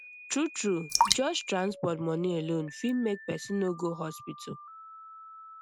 true true just transport money alone fit make person no go hospital